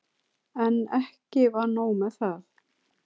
En ekki var nóg með það.